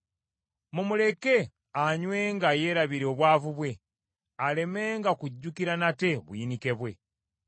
Mumuleke anywenga yeerabire obwavu bwe, alemenga kujjukira nate buyinike bwe.